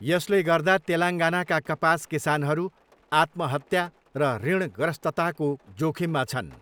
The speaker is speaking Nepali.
यसले गर्दा तेलङ्गानाका कपास किसानहरू 'आत्महत्या र ऋणग्रस्तता'को जोखिममा छन्।